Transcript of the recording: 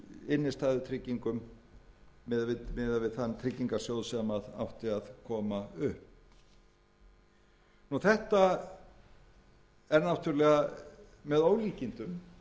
þann tryggingarsjóð sem átti að koma upp þetta er náttúrlega með ólíkindum ef það er hugsanleg niðurstaða að ábyrgð okkar